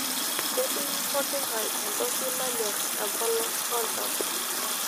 Ketii poking'ae entoki nanyorr tempolos oltau.